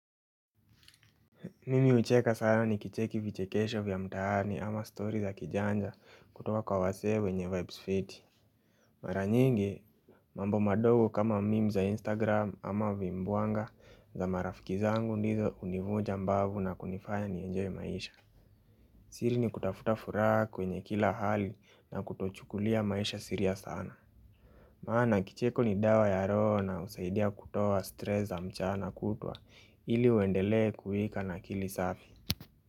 Mimi ucheka sana ni kicheki vichekesho vya mtaani ama story za kijanja kutoka kwa wasee wenye vibes fiti Mara nyingi. Mambo madogo kama memes za instagram ama vimbuanga za marafiki zangu ndizo univuja mbavu na kunifanya nienjoy maisha. Siri ni kutafuta furaha kwenye kila hali na kutochukulia maisha sserious sana. Maana kicheko ni dawa ya roho na usaidia kutoa stress za mchana kutwa ili uendelee kuhika nakili safi.